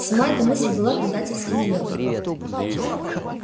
сама эта мысль была предательской и нелепой